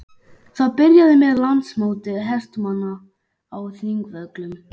Það byrjaði með Landsmóti hestamanna á Þingvöllum.